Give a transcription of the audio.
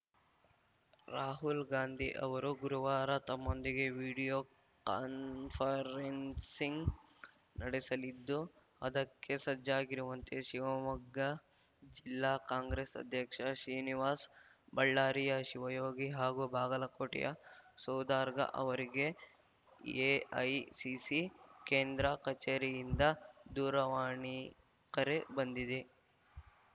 ರಾಹುಲ್‌ ಗಾಂಧಿ ಅವರು ಗುರುವಾರ ತಮ್ಮೊಂದಿಗೆ ವಿಡಿಯೋ ಕಾನ್ಫರೆನ್ಸಿಂಗ್‌ ನಡೆಸಲಿದ್ದು ಅದಕ್ಕೆ ಸಜ್ಜಾಗಿರುವಂತೆ ಶಿವಮೊಗ್ಗ ಜಿಲ್ಲಾ ಕಾಂಗ್ರೆಸ್‌ ಅಧ್ಯಕ್ಷ ಶ್ರೀನಿವಾಸ್‌ ಬಳ್ಳಾರಿಯ ಶಿವಯೋಗಿ ಹಾಗೂ ಬಾಗಲಕೋಟೆಯ ಸೌದಾರ್ಗಾ ಅವರಿಗೆ ಎಐಸಿಸಿ ಕೇಂದ್ರ ಕಚೇರಿಯಿಂದ ದೂರವಾಣಿ ಕರೆ ಬಂದಿದೆ